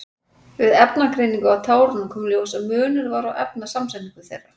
Við efnagreiningu á tárunum kom í ljós að munur var á efnasamsetningu þeirra.